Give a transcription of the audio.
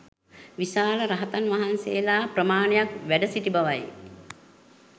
විශාල රහතන් වහන්සේලා ප්‍රමාණයක් වැඩ සිටි බවයි.